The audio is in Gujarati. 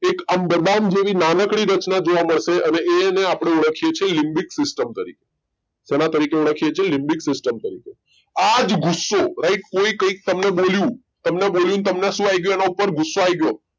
એક અંદમાન જેવી નાનકડી રચના જોવા મળે છે અને એ આપણું લીબીક system શેના તરીકે ઓળખીએ છીએ લીબીક system તરીકે આજ ગુસ્સો કે કોઈ એ તમને કઈકકહ્યું અને તમને એની ઉપર શું આવું ગયો ગુસ્સો આવી ગયો